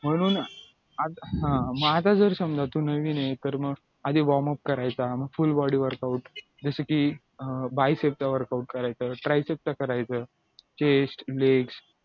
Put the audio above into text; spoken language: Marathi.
म्हणून हा मग आता तर समजा तू नवीनये तर मगआधी warm up करायचा मग full body workout जसं की अं byshape चा workout करायचा tryshape चा करायचा chest leg